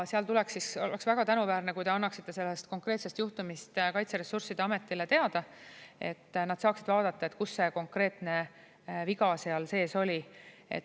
Ja oleks väga tänuväärne, kui te annaksite sellest konkreetsest juhtumist Kaitseressursside Ametile teada, et nad saaksid vaadata, kus see konkreetne viga seal sees oli.